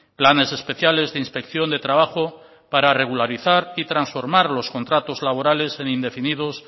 planes especiales de inspección de trabajo para regularizar y transformar los contratos laborales en indefinidos